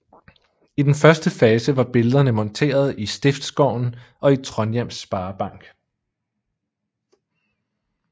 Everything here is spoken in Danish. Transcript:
I den første fase var billederne monteret i Stiftsgården og i Trondhjems Sparebank